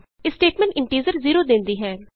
ਇਹ statement integer zero ਦੇਂਦੀ ਹੈ